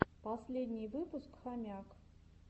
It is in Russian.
последний выпуск хомяк